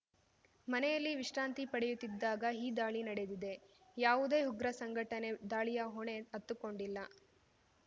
ಮನೆಯಲ್ಲಿ ವಿಶ್ರಾಂತಿ ಪಡೆಯುತ್ತಿದಾಗ ಈ ದಾಳಿ ನಡೆದಿದೆ ಯಾವುದೇ ಉಗ್ರ ಸಂಘಟನೆ ದಾಳಿಯ ಹೊಣೆ ಹತ್ತುಕೊಂಡಿಲ್ಲ